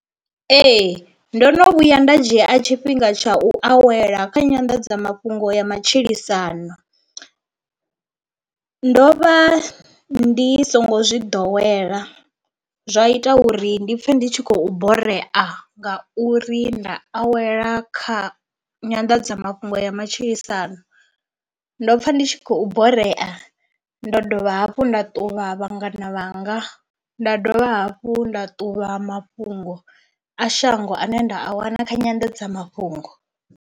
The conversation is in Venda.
Ee, ndo no vhuya nda dzhia a tshifhinga tsha u awela kha nyanḓadzamafhungo ya matshilisano ndo vha ndi songo zwi ḓowela zwa ita uri ndi pfhe ndi tshi khou borea ngauri nda awela kha nyanḓadzamafhungo ya matshilisano, ndo pfha ndi tshi khou borea ndo dovha hafhu nda ṱuvha vhangana vhanga nda dovha hafhu nda ṱuvha mafhungo a shango ane nda a wana kha nyandadzamafhungo.